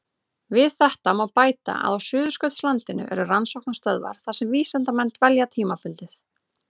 Við þetta má bæta að á Suðurskautslandinu eru rannsóknarstöðvar þar sem vísindamenn dvelja tímabundið.